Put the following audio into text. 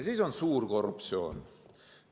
Siis on aga ka suur korruptsioon.